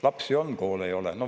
Lapsi on, koole ei ole.